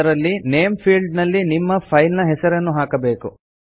ಅದರಲ್ಲಿ name field ನಲ್ಲಿ ನಿಮ್ಮ ಫೈಲ್ ನ ಹೆಸರನ್ನು ಹಾಕಬೇಕು